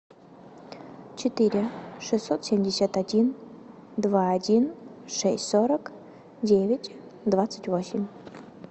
четыре шестьсот семьдесят один два один шесть сорок девять двадцать восемь